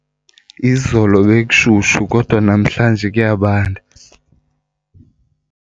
Izolo bekushushu kodwa namhlanje kuyabanda.